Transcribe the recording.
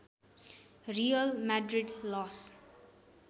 real Madrid loss